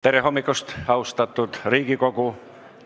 Tere hommikust, austatud Riigikogu!